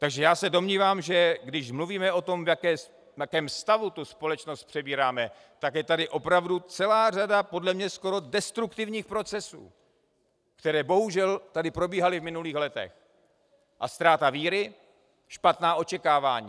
Takže já se domnívám, že když mluvíme o tom, v jakém stavu tu společnost přebíráme, tak je tady opravdu celá řada podle mě skoro destruktivních procesů, které bohužel tady probíhaly v minulých letech, a ztráta víry, špatná očekávání.